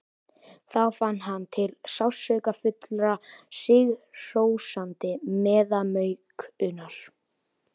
Þá fann hann til sársaukafullrar, sigrihrósandi meðaumkunar.